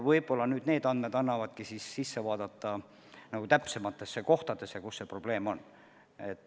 Võib-olla needki andmed annavad tõuke täpsemalt vaadata, kus see probleem on.